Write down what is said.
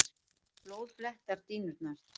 Blóð blettar dýnurnar.